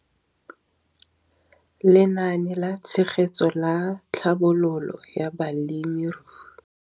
Lenaane la Tshegetso le Tlhabololo ya Balemirui.